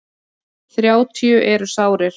Þrjátíu eru sárir.